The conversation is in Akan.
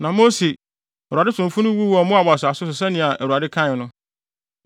Na Mose, Awurade somfo no wuu wɔ Moab asase so sɛnea Awurade kae no.